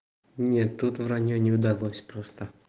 не тут враньё не удалось просто